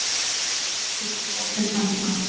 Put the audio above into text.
gos er ekki gott fyrir tennurnar